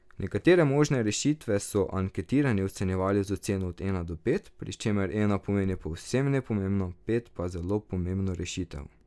Nekatere možne rešitve so anketirani ocenjevali z oceno od ena do pet, pri čemer ena pomeni povsem nepomembno, pet pa zelo pomembno rešitev.